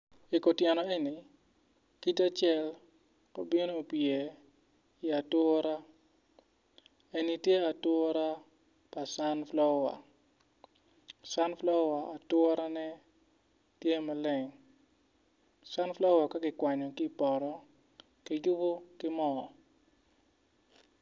I kutyena eni tye te cal ma obino opye i ature eni tye ature pa canpulowa canpulowa aturene tye maleng can pulowa ka kikwanyo ki i poto kiyubo ki mo.